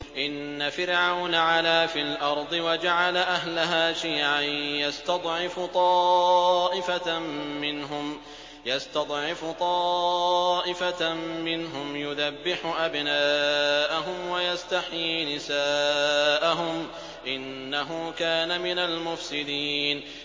إِنَّ فِرْعَوْنَ عَلَا فِي الْأَرْضِ وَجَعَلَ أَهْلَهَا شِيَعًا يَسْتَضْعِفُ طَائِفَةً مِّنْهُمْ يُذَبِّحُ أَبْنَاءَهُمْ وَيَسْتَحْيِي نِسَاءَهُمْ ۚ إِنَّهُ كَانَ مِنَ الْمُفْسِدِينَ